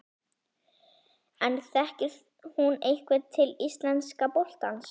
En þekkir hún eitthvað til íslenska boltans?